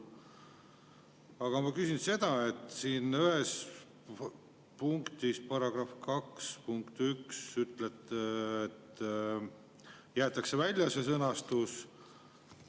Aga ma küsin seda, et siin ühes punktis, § 2 punkt 1, ütlete, et jäetakse välja see sõnastus.